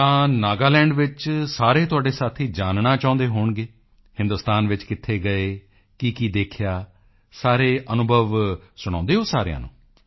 ਤਾਂ ਨਾਗਾਲੈਂਡ ਵਿੱਚ ਸਾਰੇ ਤੁਹਾਡੇ ਸਾਥੀ ਜਾਨਣਾ ਚਾਹੁੰਦੇ ਹੋਣਗੇ ਹਿੰਦੁਸਤਾਨ ਵਿੱਚ ਕਿੱਥੇ ਗਏ ਕੀਕੀ ਦੇਖਿਆ ਸਾਰੇ ਅਨੁਭਵ ਸੁਣਾਉਦੇ ਹੋ ਸਾਰਿਆਂ ਨੂੰ